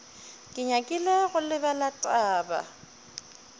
ke nyakile go lebala taba